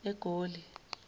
egoli